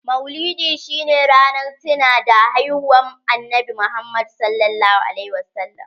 Maulidi shi ne ranar tinawa da haihuwan annabi Muhammad (.s.a w)